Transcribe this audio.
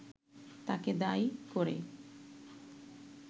তাকে দায়ী করে